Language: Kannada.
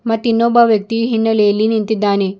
ಮತ್ತ ಇನ್ನೊಬ್ಬ ವ್ಯಕ್ತಿ ಹಿನ್ನೆಲೆಯಲ್ಲಿ ನಿಂತಿದ್ದಾನೆ.